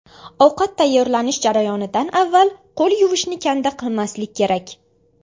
Ovqat tayyorlanish jarayonidan avval qo‘l yuvishni kanda qilmaslik kerak.